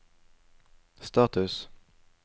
status